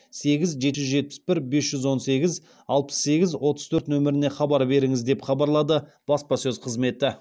сегіз жеті жүз жетпіс бір бес жүз он сегіз алпыс сегіз отыз төрт нөміріне хабар беріңіз деп хабарлады баспасөз қызметі